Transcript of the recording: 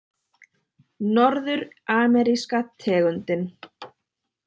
Norður-ameríska tegundin